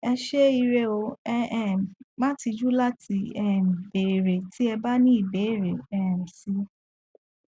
ẹ ṣé ire o ẹ um má tijú láti um béèrè tí ẹ bá ní ìbéèrè um si